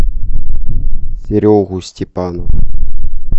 серегу степанова